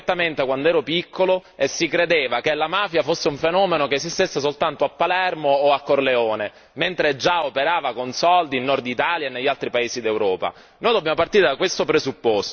Io sono siciliano e ricordo perfettamente quando ero piccolo e si credeva che la mafia fosse un fenomeno che esistesse soltanto a Palermo o a Corleone, mentre già operava con soldi in Nord Italia e negli altri paesi d'Europa.